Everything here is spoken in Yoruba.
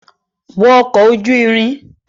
Wọ ọkọ̀ ojú ìrìn!